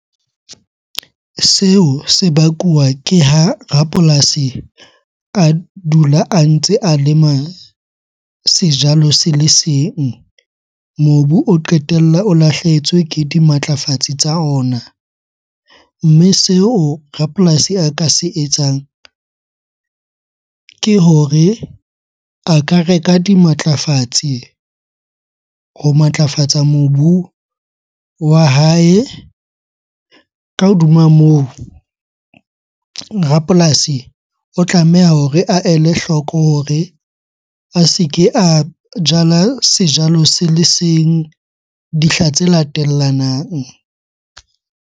Seo se bakuwa ke ha rapolasi a dula a ntse a lema sejalo se le seng. Mobu o qetella o lahlehetswe ke dimatlafatsi tsa ona. Mme seo rapolasi a ka se etsang, ke hore a ka reka dimatlafatsi ho matlafatsa mobu wa hae. Ka hodima moo, rapolasi o tlameha hore a ele hloko hore a se ke a jala sejalo se le seng dihla tse latellanang.